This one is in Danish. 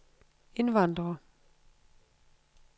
indvandrere